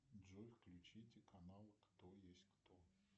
джой включите канал кто есть кто